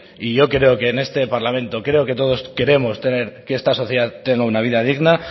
y yo creo que en este parlamento creo que todos queremos tener que esta sociedad tenga una vida digna